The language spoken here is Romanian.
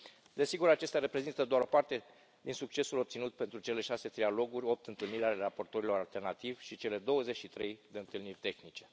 Desigur, acestea reprezintă doar o parte din succesul obținut pentru cele șase trialoguri, 8 întâlniri ale raporturilor alternativi și cele 23 de întâlniri tehnice.